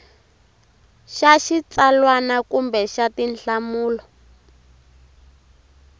xa xitsalwana kumbe xa tinhlamulo